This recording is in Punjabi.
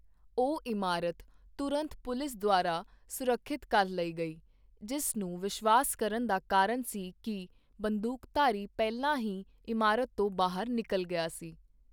ਉਹ ਇਮਾਰਤ ਤੁਰੰਤ ਪੁਲਿਸ ਦੁਆਰਾ ਸੁਰੱਖਿਅਤ ਕਰ ਲਈ ਗਈ, ਜਿਸ ਨੂੰ ਵਿਸ਼ਵਾਸ ਕਰਨ ਦਾ ਕਾਰਨ ਸੀ ਕਿ ਬੰਦੂਕਧਾਰੀ ਪਹਿਲਾਂ ਹੀ ਇਮਾਰਤ ਤੋਂ ਬਾਹਰ ਨਿਕਲ ਗਿਆ ਸੀ।